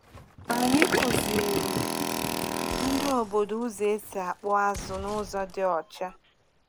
Anyị kụziri ndị obodo ụzọ esi akpụ azụ n’ụzọ dị ọcha.